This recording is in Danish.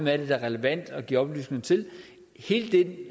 er det er relevant at give oplysninger til og hele